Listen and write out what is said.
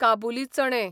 काबुली चणे